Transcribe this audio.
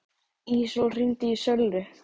Ísól, hringdu í Söllu.